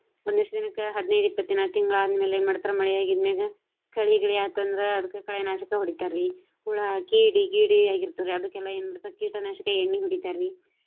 ಒಂದಷ್ಟು ದಿನಕ್ಕ ಹದಿನೈದು ಇಪ್ಪತ್ತು ದಿನಾ ತಿಂಗಳಾದ ಆದ ಮ್ಯಾಲ ಏನ ಮಾಡ್ತಾರ ಮಳಿ ಆಗಿದ ಮ್ಯಾಗ. ಕಳೆ ಗಿಳೆ ಆತ ಅಂದ್ರ ಅದಕ್ಕ ಕಳೆನಾಶಕ ಹೊಡಿತಾರಿ. ಹುಳ, ಕೀಡಿ, ಗೀಡಿ ಆಗಿರ್ತಾವ್ರಿ ಅದಕ್ಕ ಎನ ಮಾಡ್ತಾರ ಕೀಟನಾಶಕ ಎಣ್ಣಿ ಹೊಡಿತಾರಿ.